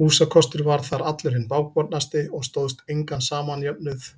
Húsakostur þar var allur hinn bágbornasti og stóðst engan samjöfnuð